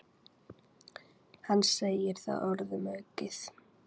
Hann segir það orðum aukið.